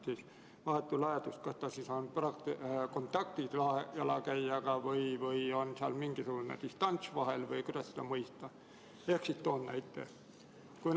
Kas vahetu läheduse korral on jalgrattur jalakäijaga kontaktis või on seal mingisugune distants vahel või kuidas seda mõista?